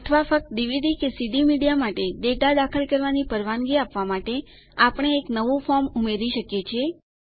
અથવા ફક્ત ડીવીડી કે સીડી મીડિયા માટે ડેટા દાખલ કરવાની પરવાનગી આપવા માટે આપણે એક નવું ફોર્મ ઉમેરી શકીએ છીએ